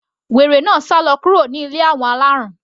Wèrè náà sálọ kúrò ní ilé àwọn alárùn.